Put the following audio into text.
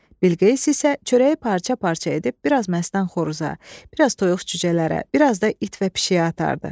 Bilqeyis isə çörəyi parça-parça edib biraz məstan xoruza, biraz toyuq cücələrə, biraz da it və pişiyə atardı.